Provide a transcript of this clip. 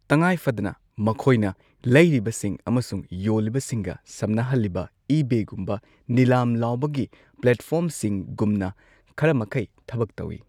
ꯇꯉꯥꯏ ꯐꯗꯅ, ꯃꯈꯣꯏꯅ ꯂꯩꯔꯤꯕꯁꯤꯡ ꯑꯃꯁꯨꯡ ꯌꯣꯜꯂꯤꯕꯁꯤꯡꯒ ꯁꯝꯅꯍꯜꯂꯤꯕ ꯏꯕꯦꯒꯨꯝꯕ ꯅꯤꯂꯥꯝ ꯂꯥꯎꯕꯒꯤ ꯄ꯭ꯂꯦꯠꯐꯣꯔꯝꯁꯤꯡꯒꯨꯝꯅ ꯈꯔꯃꯈꯩ ꯊꯕꯛ ꯇꯧꯏ꯫